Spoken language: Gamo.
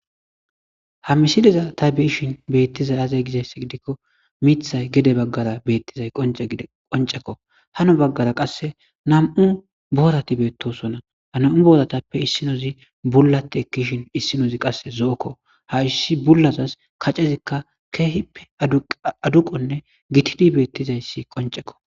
ha misiliza ta be'iishin beettizay aze gizayss gidikko miithay gede baggara beettizay dqoncekko hano baggara qasse nam7u boorati beettosonna hana7u bodatappe issinozi bullate ekishin issinozi qasse zo7okko ha issi bullazas kacezikka keehippe aduqonne gitidi beettizayssi qoncekko